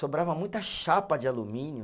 Sobrava muita chapa de alumínio.